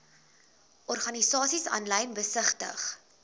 organisasies aanlyn besigtig